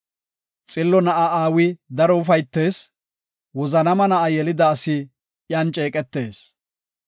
Xillo na7a aawi daro ufaytees; wozanaama na7a yelida asi iyan ceeqetees.